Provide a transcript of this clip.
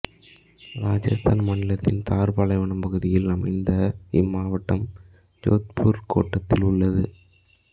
இராஜஸ்தான் மாநிலத்தின் தார் பாலைவனம் பகுதியில் அமைந்த இம்மாவட்டம் ஜோத்பூர் கோட்டத்தில் உள்ளது